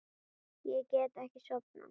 Ég get ekki sofnað.